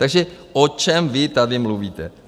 Takže o čem vy tady mluvíte?